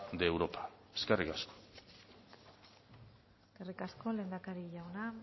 de europa eskerrik asko eskerrik asko lehendakari jauna